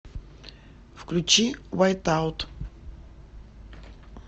включи вайтаут